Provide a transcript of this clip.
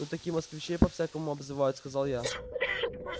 ну так и москвичей по-всякому обзывают сказал я